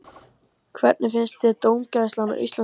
Hvernig finnst þér dómgæslan í Landsbankadeildinni?